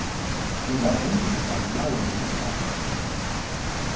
lingazinzisa lilawule liphathe